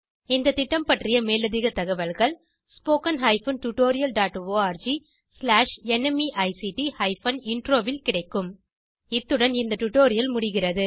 இந்த திட்டம் பற்றிய மேலதிக தகவல்கள் spoken hyphen tutorial dot org slash NMEICT hyphen intro ல் கிடைக்கும் இத்துடன் இந்த டுடோரியல் முடிகிறது